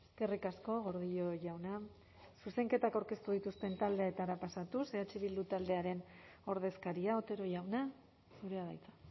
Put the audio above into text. eskerrik asko gordillo jauna zuzenketak aurkeztu dituzten taldeetara pasatuz eh bildu taldearen ordezkaria otero jauna zurea da hitza